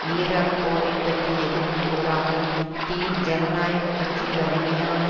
Iraq போரை பற்றி எதுவும் கூறாமல் டீன் ஜனநாயக கட்சி வலிமையான